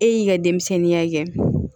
E y'i ka denmisɛnninya kɛ